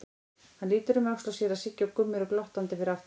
Hann lítur um öxl og sér að Siggi og Gummi eru glottandi fyrir aftan hann.